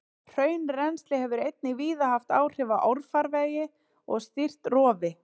Hraunrennsli hefur einnig víða haft áhrif á árfarvegi og stýrt rofi.